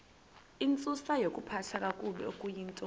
intsusayokuphathwa kakabi okuyintoni